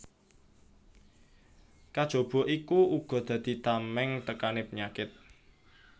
Kajaba iku uga dadi tamèng tekané penyakit